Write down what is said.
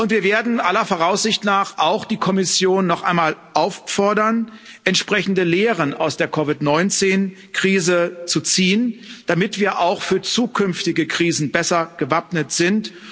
Wir werden aller Voraussicht nach auch die Kommission noch einmal auffordern, entsprechende Lehren aus der COVID 19 Krise zu ziehen, damit wir auch für zukünftige Krisen besser gewappnet sind.